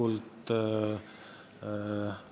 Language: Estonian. Noh, mis siin öelda – hea soovitus!